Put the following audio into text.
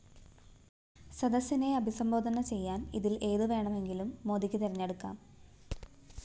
സദസിനെ അഭിസംബോധന ചെയ്യാന്‍ ഇതില്‍ ഏതുവേണമെങ്കിലും മോദിക്ക് തിരഞ്ഞെടുക്കാം